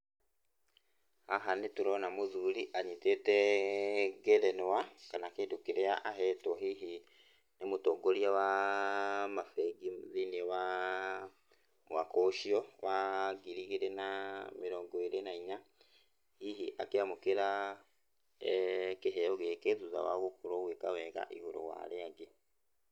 Haha nĩtũrona mũthuri anyitĩtee ngerenwa, kana kĩndũ kĩrĩa ahetwo hihi nĩ mũtongoria waa mabengi thĩiniĩ waa mwaka ũcio wa ngiri igĩrĩ na mĩrongo ĩrĩ na inya. Hihi akĩamũkĩra kĩheo gĩkĩ, thutha wa gũkorwo agĩka wega igũrũ wa arĩa angĩ.